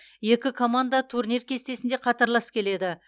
екі команда турнир кестесінде қатарлас келеді